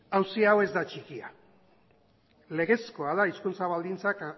auzi hau ez da txikia legezkoa da hizkuntza baldintzak